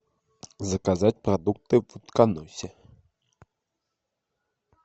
заказать продукты в утконосе